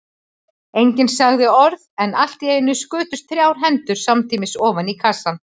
Enginn sagði orð, en allt í einu skutust þrjár hendur samtímis ofan í kassann.